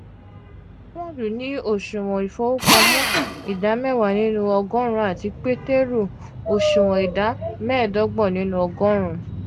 paulu ni oṣuwọn ifowopamọ ida mewa ninu ogorun ati peteru oṣuwọn ida medogbon ninu ogorun.